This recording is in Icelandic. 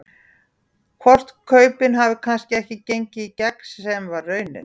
Hvort kaupin hafi kannski ekki gengið í gegn sem að var raunin?